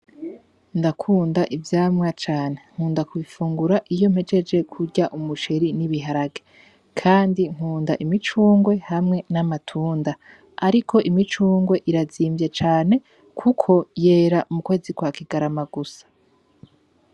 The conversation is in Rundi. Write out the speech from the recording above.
Ndakunda ivyamwa cane. Nkunda kubifungura iyo mpejeje kurya umuceri n'ibiharage. Kandi nkunda imicungwe hamwe n'amatunda. Ariko imicungwe irazimvye cane, kuko yera mukwezi kwa kigarama gusa.